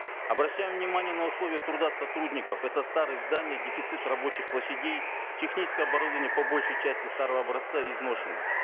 обращаем внимание на условия труда сотрудников это старые здания дефицит рабочих площадей техническое оборудование по большей части старого образца и изношенное